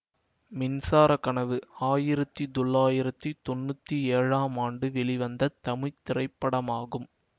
மின்சார கனவு ஆயிரத்தி தொள்ளாயிரத்தி தொன்னூத்தி ஏழாம் ஆண்டு வெளிவந்த தமிழ் திரைப்படமாகும்